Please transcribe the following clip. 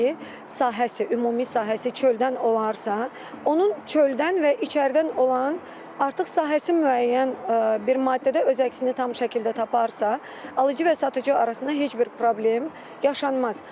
sahəsi, ümumi sahəsi çöldən olarsa, onun çöldən və içəridən olan artıq sahəsi müəyyən bir maddədə öz əksini tam şəkildə taparsa, alıcı və satıcı arasında heç bir problem yaşanmaz.